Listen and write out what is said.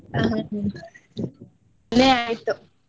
ಆಯ್ತು.